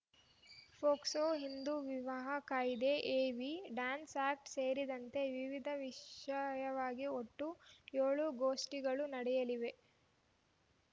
POCSO Hindu ವಿವಾಹ ಕಾಯ್ದೆ evidence act ಸೇರಿದಂತೆ ವಿವಿಧ ವಿಷಯವಾಗಿ ಒಟ್ಟು ಏಳು ಗೋಷ್ಠಿಗಳು ನಡೆಯಲಿವೆ